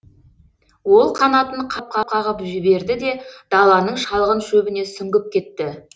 ол қанатын қағып қағып жіберді де даланың шалғын шөбіне сүңгіп кетті